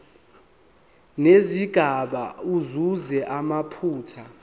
nezigaba asuse amaphutha